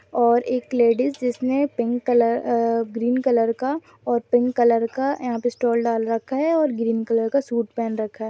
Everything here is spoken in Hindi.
और एक लेडिज जिसने pink colour uh green colour का और पिंक कलर का यहा पर स्टॉल डाल रखा है और ग्रीन कलर का सूट पहन रखा है ।